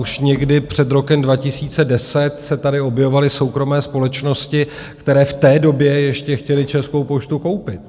Už někdy před rokem 2010 se tady objevovaly soukromé společnosti, které v té době ještě chtěly Českou poštu koupit.